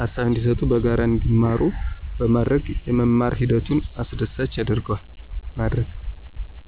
ሃሳብ እንዲሰጡና በጋራ እንዲማሩ በማድረግ የመማር ሂደቱን አስደሳች ማድረግ።